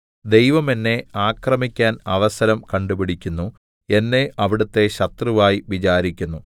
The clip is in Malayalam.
ദൈവം എന്നെ ആക്രമിക്കാൻ അവസരം കണ്ടുപിടിക്കുന്നു എന്നെ അവിടുത്തെ ശത്രുവായി വിചാരിക്കുന്നു